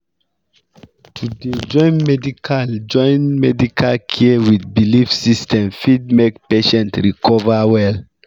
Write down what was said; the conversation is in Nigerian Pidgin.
to dey join medical join medical care with belief system fit make patient recover well